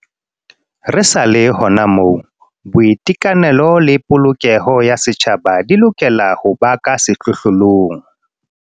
Re sa le hona moo, boiteka nelo le polokeho ya setjhaba di lokela ho ba ka sehlohlo long.